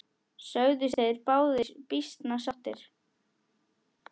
Sögðust þeir báðir býsna sáttir.